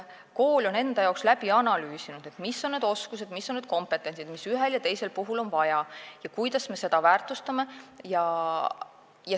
Kool peab läbi analüüsima, mis on need oskused ja mis on see kompetents, mida ühel ja teisel puhul on vaja ning kuidas me seda väärtustame.